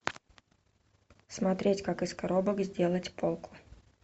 смотреть как из коробок сделать полку